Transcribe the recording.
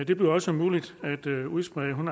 det bliver også muligt at udsprede en